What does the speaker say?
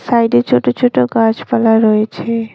সাইডে ছোট ছোট গাছপালা রয়েছে।